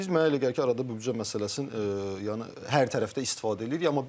Biz mənə elə gəlir ki, arada bu büdcə məsələsini yəni hər tərəfdə istifadə eləyirlər.